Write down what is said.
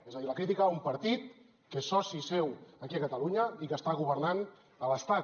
és a dir la crítica a un partit que és soci seu aquí a catalunya i que està governant a l’estat